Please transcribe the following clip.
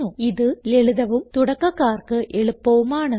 ഇത് ലളിതവും തുടക്കകാർക്ക് എളുപ്പവും ആണ്